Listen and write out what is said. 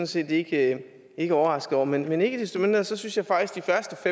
set ikke ikke overraskede over men ikke desto mindre synes jeg faktisk